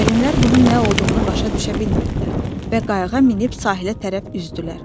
Alimlər bunun nə olduğunu başa düşə bilmirdilər və qayığa minib sahilə tərəf üzdülər.